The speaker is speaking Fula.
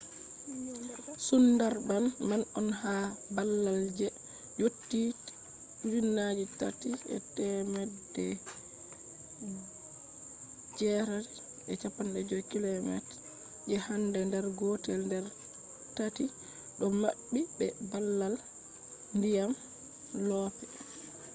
sundarbans man on ha babal je yotti 3,850 km je han der gotel der taati do mabbi be babal dyam/loope